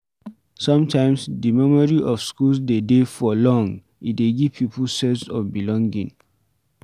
Sometimes, di memory of school de dey for long, e dey give pipo sense of belonging